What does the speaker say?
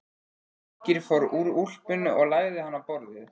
Birkir fór úr úlpunni og lagði hana á borðið.